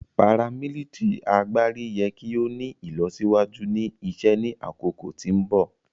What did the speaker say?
paramilitary agbari yẹ ki o ni ilọsiwaju ni isẹ ni akoko ti mbọ.